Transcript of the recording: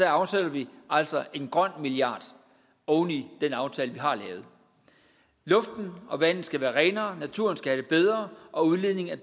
afsætter vi altså en grøn milliard oven i den aftale vi har lavet luften og vandet skal være renere natur og skal have det bedre og udledningen af